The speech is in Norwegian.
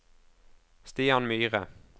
Stian Myhre